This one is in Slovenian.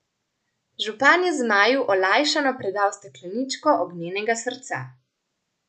Župan je Zmaju olajšano predal stekleničko ognjenega srca.